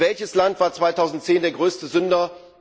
Und welches Land war 2010 der größte Sünder?